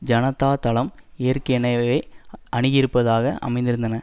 ஜனதா தளம் ஏற்கனவே அணுகியிருப்பதாக அமைத்திருந்தன